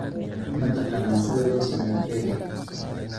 Ma taqaanaa sida loo sameeyo keega?